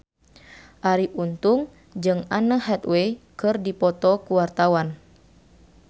Arie Untung jeung Anne Hathaway keur dipoto ku wartawan